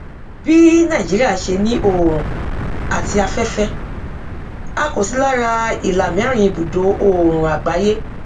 bí nàìjíría ṣe ní òòrùn àti afẹfẹ a kò sí lára ìlàmẹrin ibùdo òòrùn àgbáyé